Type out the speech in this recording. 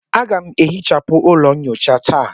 Aga m ehichapụ ụlọ nyocha taa.